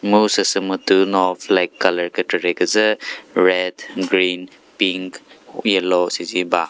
mu süsü mütuno flag colour kükre kre küzü red green pink yellow süzi ba.